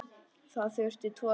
Það þurfti tvo til.